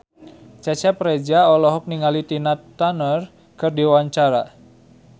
Cecep Reza olohok ningali Tina Turner keur diwawancara